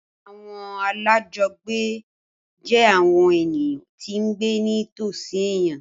Àwọn alájọgbé jẹ́ àwọn ènìyàn tí ń gbé ní tòsí èèyàn